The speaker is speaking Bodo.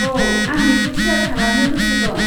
औ, आं बेखौ सेयार खालामनो गोसो दं।